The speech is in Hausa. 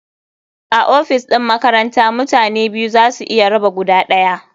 A ofis ɗin makaranta mutane biyu za su iya raba guda ɗaya.